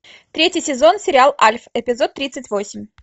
третий сезон сериал альф эпизод тридцать восемь